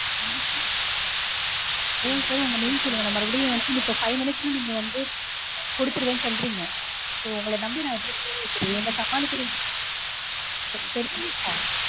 அதா sir உங்க name சொல்லுங்க. நா மறுபடியும் five minutes ல நீங்க வந்து கொடுத்துருவேனு சொல்றீங்க. so உங்கள நம்பி நா எப்படி phone வைக்கறது எங்கள சமாளிக்கறது